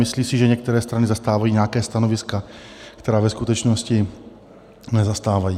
Myslí si, že některé strany zastávají nějaká stanoviska, která ve skutečnosti nezastávají.